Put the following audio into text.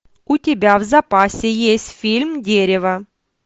у тебя в запасе есть фильм дерево